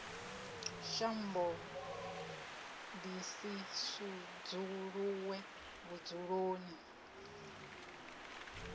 shambo ḓi si sudzuluwe vhudzuloni